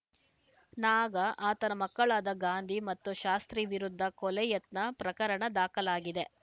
ನಾಗ ಆತನ ಮಕ್ಕಳಾದ ಗಾಂಧಿ ಮತ್ತು ಶಾಸ್ತ್ರೀ ವಿರುದ್ಧ ಕೊಲೆ ಯತ್ನ ಪ್ರಕರಣ ದಾಖಲಾಗಿದೆ